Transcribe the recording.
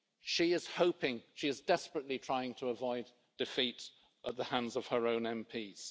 She is desperately trying to avoid defeat at the hands of her own MPs.